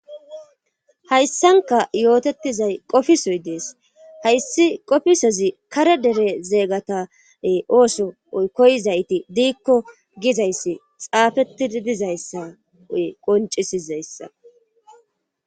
Hayssanka yootetizay qofisoy dees hayssi qofisezi kare dere zeegatae ooso oy koyizayti diikko gizayssi xaafetidi dizayssa oy qoncisizayssa.